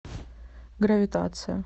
гравитация